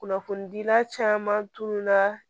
Kunnafonidila caman tununa